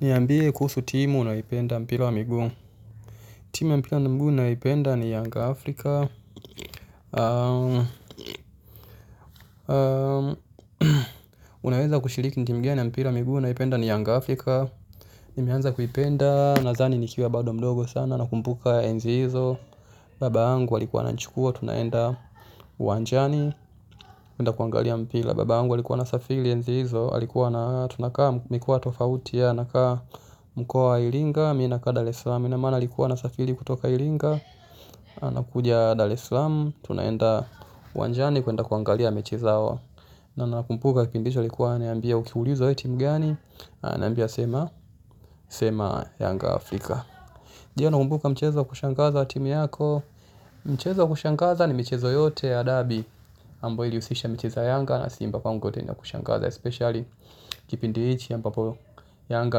Niambie kuhusu timu unayopenda mpira wa miguu. Timu ya mpira na miguu nayoipenda ni Yanga Afrika. Unaweza kushiliki ni timu ya mpira wa miguu unayependa ni Yanga Afrika. Nimeanza kuipenda, nadhani nikiwa bado mdogo sana nakumbuka enzi hizo. Babaangu alikuwa ananichukua, tunaenda uwanjani tunaenda kuangalia mpira, babangu alikuwa anasafiri enzi hizo alikuwa ana tunakaa mkoa tofauti yeye, anakaa mkoa wa ilinga. Mi nakaa Dar Esalam, kila mara alikuwa anasafiri kutoka ilinga. Anakudia Dar Eslam, tunaenda uwanjani kuenda kuangalia mechi zao. Na nakumbuka kipindi hicho alikuwa, ananiambia ukiulizwa wewe timu gani. Ananiambia sema, sema Yanga Afrika je nakumbuka mchezo wa kushangaza wa timu yako. Mchezo wa kushangaza ni mchezo yote ya derby ambao ilihusisha mchezo ya Yanga na Simba pangu yote ni ya kushangaza. Especially kipindi hichi ambapo Yanga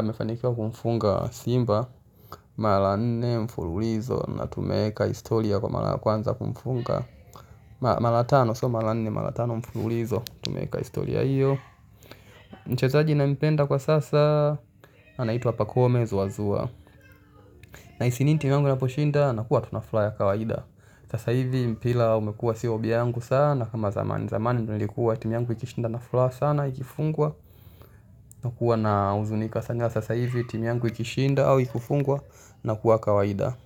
amefanikiwa kumfunga Simba mara nne mfululizo na tumeeka historia kwa mara ya kwanza kumfunga, mara tano sio mara nne mara tano mfululizo tumeeka historia hio mchezaji nampenda kwa sasa anaitwa pakome zuazua. Nahisi niti namna poshinda nakuwa tu na furaha ya kawaida. Sasa hivi mpira umekuwa sio vyangu sana kama zamani. Zamani nilikuwa timu yangu ikishinda nina furaha sana ikifungwa nakuwa na huzunika sasa hivi timu yangu ikishinda au ikufungwa nakuwa kawaida.